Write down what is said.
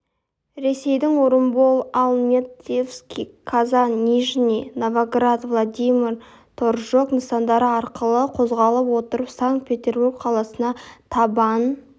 ресейдің орынбор альметьевск қазан нижний новгород владимир торжок нысандары арқылы қозғала отырып санкт-петербург қаласына табан